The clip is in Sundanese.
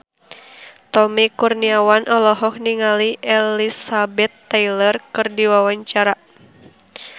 Tommy Kurniawan olohok ningali Elizabeth Taylor keur diwawancara